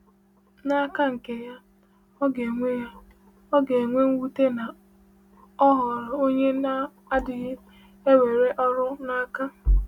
N’aka nke ya, ọ ga-enwe ya, ọ ga-enwe mwute na ọ ghọrọ onye na-adịghị ewere ọrụ n’aka.